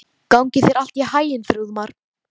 Gangi þér allt í haginn, Þrúðmar.